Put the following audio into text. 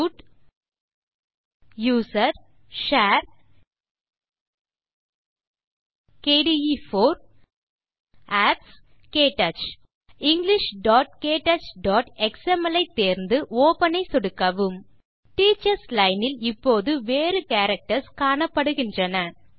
root usr share kde4 apps க்டச் englishktouchஎக்ஸ்எம்எல் ஐ தேர்ந்து ஒப்பன் ஐ சொடுக்கவும் டீச்சர்ஸ் லைன் இல் இப்போது வேறு கேரக்டர்ஸ் காணப்படுகின்றன